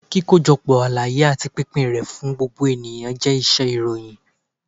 kíkojọpọ àlàyé ati pínpín ré fún gbógbo eníyan jẹ iṣẹ-ìròyìn.